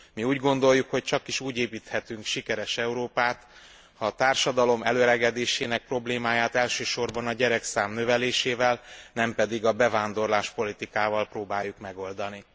Mi úgy gondoljuk, hogy csakis úgy építhetünk sikeres Európát, ha a társadalom elöregedésének problémáját elsősorban a gyerekszám növelésével, nem pedig a bevándorláspolitikával próbáljuk megoldani.